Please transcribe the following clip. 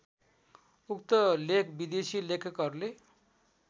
उक्त लेख विदेशी लेखकहरूले